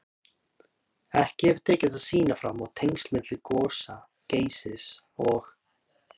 Ekki hefur tekist að sýna fram á tengsl milli gosa Geysis og